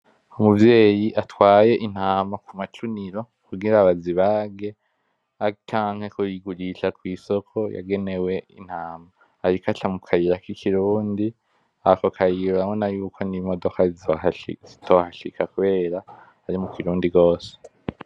Umuvyeyi atwaye intama kumacuniro kugira bazibage, canke kuyigurisha kw'isoko yagenewe intama ariko aca mu kayira kikirundi ako kayira uraboyuko n'imodoka zitohashika kubera ari mu kirundi gose.